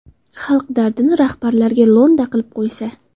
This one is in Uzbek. Xalq dardini rahbarlarga lo‘nda qilib qo‘ysa.